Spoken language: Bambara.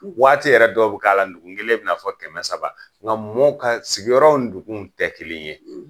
Waati yɛrɛ dɔw bi k'a la dugun kelen bɛ'na fɔ kɛmɛ saba la, nga mɔɔw ka sigiyɔrɔw dugun tɛ kelen ye.